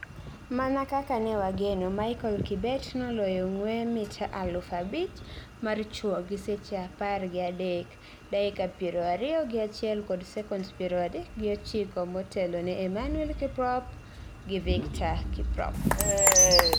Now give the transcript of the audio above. Mana kaka ne wageno, Michael Kibet noloyo ng'wee mita aluf abich mar chuo gi seche apar gi adek, dakika piero ariyo gi achiel kod sekonds piero adek gi ochiko motelo ne Emmanuel Kiprop and Victor Kiprop.